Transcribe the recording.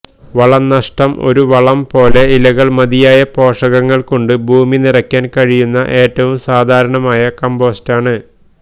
വളംനഷ്ടം ഒരു വളം പോലെ ഇലകൾ മതിയായ പോഷകങ്ങൾ കൊണ്ട് ഭൂമി നിറയ്ക്കാൻ കഴിയുന്ന ഏറ്റവും സാധാരണ കമ്പോസ്റ്റാണ്